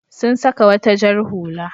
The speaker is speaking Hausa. Sun saka wata jar hula.